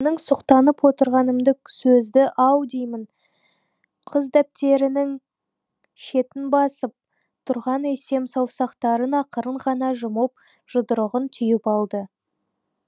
менің сұқтанып отырғанымды сөзді ау деймін қыз дәптерінің шетін басып тұрған есем саусақтарын ақырын ғана жұмып жұдырығын түйіп алды